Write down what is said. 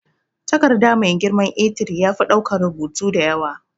Takarda mai girman A3 yafi daukan rubutu da yawa.